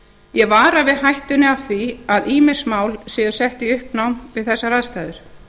ég vara við hættunni á því að ýmis mál séu sett í uppnám við þessar aðstæður